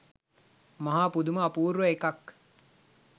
මහා පුදුම අපූර්ව එකක්.